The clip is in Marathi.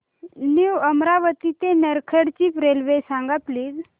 न्यू अमरावती ते नरखेड ची रेल्वे सांग प्लीज